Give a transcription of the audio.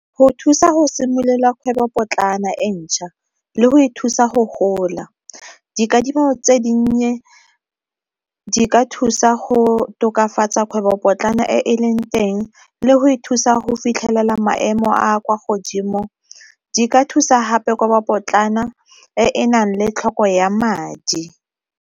Go thusa go simolola kgwebopotlana e ntšha, le go e thusa go gola. Dikadimo tse dinnye di ka thusa go tokafatsa kgwebo potlana e e leng ka teng le go ithusa go fitlhelela maemo a kwa godimo, di ka thusa hape kgwebo potlana e enang le tlhoko ya madi.